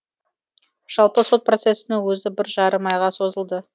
жалпы сот процесінің өзі бір жарым айға созылды